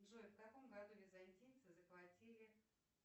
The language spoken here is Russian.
джой в каком году византийцы захватили